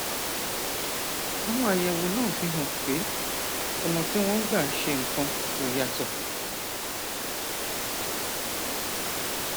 àwọn àyẹwò náà fi hàn pé ọnà tí wọn ń gbà ṣe nǹkan kò yàtọ